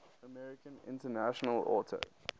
american international auto